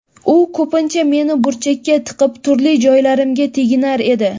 U ko‘pincha meni burchakka tiqib, turli joylarimga teginar edi.